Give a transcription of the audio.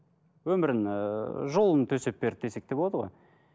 өмірін ііі жолын төсеп берді десек те болады ғой